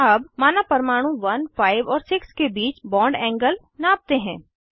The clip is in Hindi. अब माना परमाणु 1 5 और 6 के बीच बॉन्ड एंगल नापते हैं